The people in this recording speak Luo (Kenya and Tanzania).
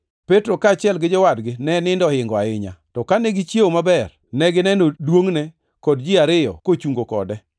Petro kaachiel gi jowadgi ne nindo oingo ahinya, to kane gichiewo maber, negineno duongʼne kod ji ariyo kochungo kode.